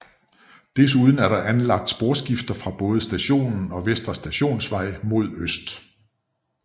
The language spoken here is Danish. Desuden er der anlagt sporskifter fra både stationen og Vestre Stationsvej mod øst